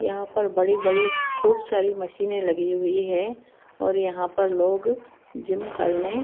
यहां पर बड़ी बड़ी खूब सारी मशीने लगी हुई है और यहां पर लोग जिम करने--